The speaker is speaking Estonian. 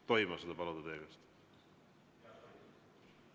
Tohin ma seda paluda teie käest?